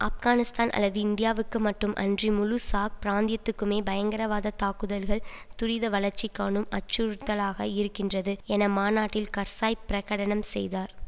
ஆப்கானிஸ்தான் அல்லது இந்தியாவுக்கு மட்டும் அன்றி முழு சார் பிராந்தியத்துக்குமே பயங்கரவாதத் தாக்குதல்கள் துரித வளர்ச்சிகாணும் அச்சுறுத்தலாக இருக்கின்றது என மாநாட்டில் கர்ஸாய் பிரகடனம் செய்தார்